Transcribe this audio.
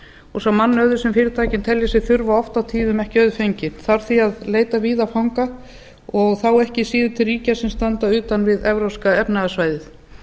og sá mannauður sem fyrirtækin telja sig þurfa oft og tíðum ekki auðfenginn þarf því að leita víða fanga og þá ekki síður til ríkja sem standa utan við evrópska efnahagssvæðið